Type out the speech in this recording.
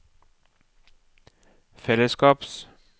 fellesskaps